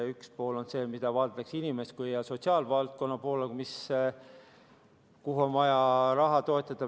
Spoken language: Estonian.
Üks pool vaatab inimese ja sotsiaalvaldkonna poole, kuhu on vaja raha, et toetada.